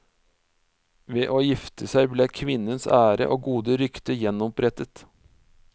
Ved å gifte seg ble kvinnens ære og gode rykte gjenopprettet.